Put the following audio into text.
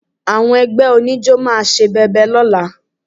Àwọn ẹgbẹ́ oníjó máa ṣe bẹbẹ lọ́la